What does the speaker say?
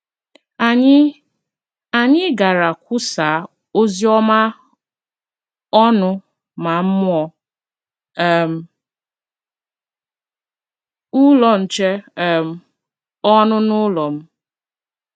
Anyị Anyị gara kwusaa ozi ọma ọnụ ma mụọ um Ụlọ Nche um ọnụ n’ụlọ m.